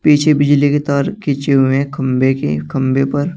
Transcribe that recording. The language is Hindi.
पीछे बिजली के तार खींचे हुए हैं खम्भे के खम्भे पर--